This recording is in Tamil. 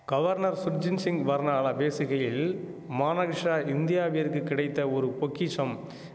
கவர்னர் சுர்ஜின் சிங் பர்னாலா பேசுகையில் மானகிஷா இந்தியாவிற்கு கிடைத்த ஒரு பொக்கிஷம்